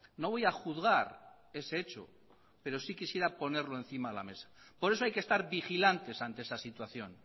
no voy a juzgar ese hecho pero sí quisiera ponerlo encima de la mesa por eso hay que estar vigilantes ante esa situación